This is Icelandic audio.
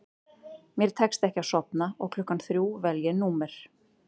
Mér tekst ekki að sofna og klukkan þrjú vel ég númer